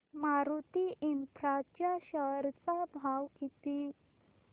Maruti infra च्या share चा भाव किती